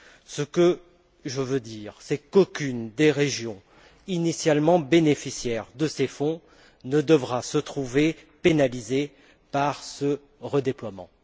Ce que je veux dire, c'est qu'aucune des régions initialement bénéficiaires de ces fonds ne devra se trouver pénalisée par ce redéploiement.